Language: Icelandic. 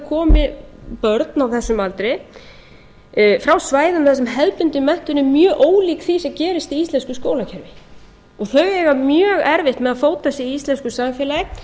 komi börn á þessum aldri frá svæðum þar sem hefðbundin menntun er mjög ólík því sem gerist í íslensku skólakerfi þau eiga mjög erfitt með að fóta sig í íslensku samfélagi